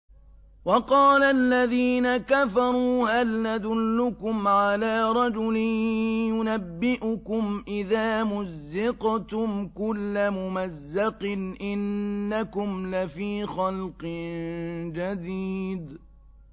وَقَالَ الَّذِينَ كَفَرُوا هَلْ نَدُلُّكُمْ عَلَىٰ رَجُلٍ يُنَبِّئُكُمْ إِذَا مُزِّقْتُمْ كُلَّ مُمَزَّقٍ إِنَّكُمْ لَفِي خَلْقٍ جَدِيدٍ